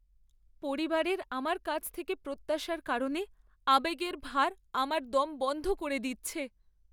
পরিবারের আমার কাছ থেকে প্রত্যাশার কারণে আবেগের ভার আমার দম বন্ধ করে দিচ্ছে!